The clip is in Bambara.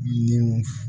Nin